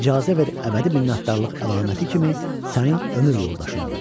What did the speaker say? İcazə ver əbədi minnətdarlıq əlaməti kimi sənin ömür yoldaşın olum.